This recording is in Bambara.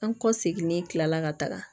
An kɔ seginni kilala ka taga